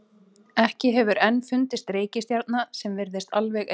Ekki hefur enn fundist reikistjarna sem virðist alveg eins.